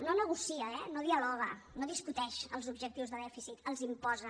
no negocia eh no dialoga no discuteix els objectius de dèficit els imposa